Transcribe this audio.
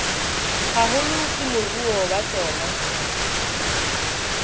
haholo ke moruo wa tsona